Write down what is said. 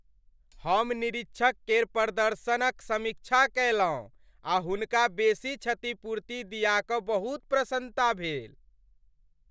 हम निरीक्षक केर प्रदर्शनक समीक्षा कयलहुँ आ हुनका बेसी क्षतिपूर्ति दिया कऽ बहुत प्रसन्नता भेल।